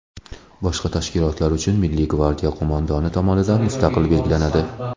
boshqa tashkilotlar uchun Milliy gvardiya qo‘mondoni tomonidan mustaqil belgilanadi.